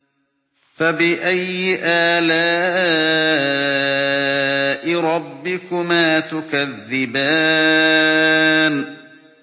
فَبِأَيِّ آلَاءِ رَبِّكُمَا تُكَذِّبَانِ